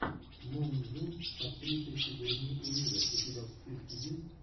моонзунд с актрисой сигурни уивер у тебя в списке есть